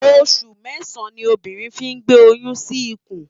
Óṣù mèsán ni óbírìn fi n gbé óyùn si ikún